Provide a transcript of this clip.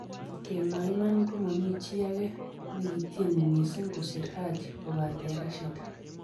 kawmwa iman ko momii chi age nikitieni mising kosir Haji kobate Rashid